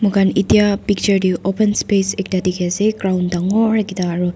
moikhan etia picture te open space ekta dikhi ase ground dangor ekta aru.